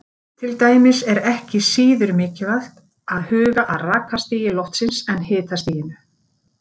Til dæmis er ekki síður mikilvægt að huga að rakastigi loftsins en hitastiginu.